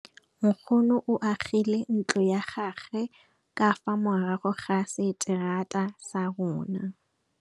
Nkgonne o agile ntlo ya gagwe ka fa morago ga seterata sa rona.